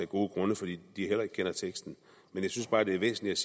gode grunde fordi de heller ikke kender teksten jeg synes bare det er væsentligt